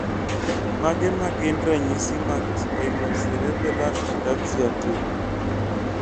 Mage magin ranyisi mag Spinocerebellar ataxia 2?